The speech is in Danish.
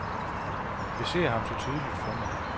Jeg ser ham så tydeligt for mig.